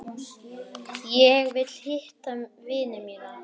Ég vil hitta vini mína.